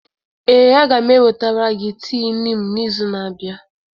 Ee, a ga m ewetara gị tii niimu n'izu na-abịa.